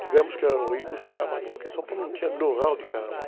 Tivemos que ir ao Rio buscar material, porque São Paulo não tinha know-how de Carnaval.